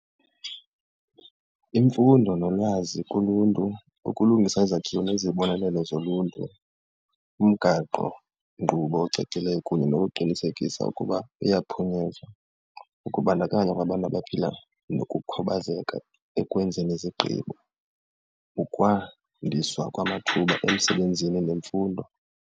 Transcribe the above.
Imfundo nolwazi kuluntu, ukulungisa izakhiwo nezibonelelo zoluntu, umgaqonkqubo ocacileyo kunye nokuqinisekisa ukuba uyaphunyezwa, ukubandakanya kwabantu abaphila nokukhubazeka ekwenzeni izigqibo, ukwandisa kwamathuba emsebenzini nemfundo.